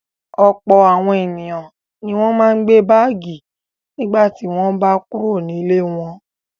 Ọ̀pọ̀ àwọn ènìyàn ni wọ́n máa ń gbé báágì nígbà tí wọ́n bá kúrò nílé wọn.